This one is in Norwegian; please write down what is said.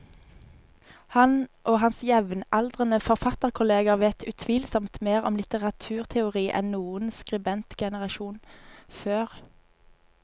Han og hans jevnaldrende forfatterkolleger vet utvilsomt mer om litteraturteori enn noen skribentgenerasjon før.